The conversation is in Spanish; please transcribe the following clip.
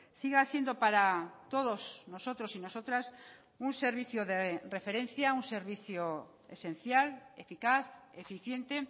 siga siendo para todos nosotros y nosotras un servicio de referencia un servicio esencial eficaz eficiente